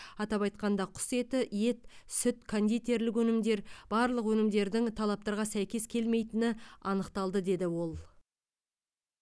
атап айтқанда құс еті ет сүт кондитерлік өнімдер барлық өнімдердің талаптарға сәйкес келмейтіні анықталды деді ол